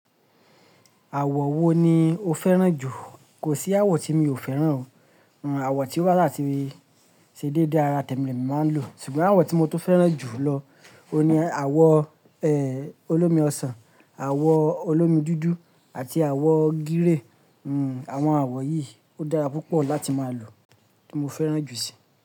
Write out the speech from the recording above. Àwọ̀ wo ni o fẹ́ràn jù? Kò sí àwọ̀ tí mi ò fẹ́ràn o, àwọ̀ tí ó bà sa ti ṣe déédé ara tẹ̀mi ni e mi màá ń lò. Ṣùgbọ́n àwọ̀ tí mo tó fẹ́ràn jù lọ ni àwọ̀, ẹ́, olómi ọsàn, àwọ̀ olómi dúdú àti àwọ̀ gírí. Hmm, àwọn àwọ̀ yìí ó dára púpọ̀ láti máa lò, mo fẹ́ràn jù síi.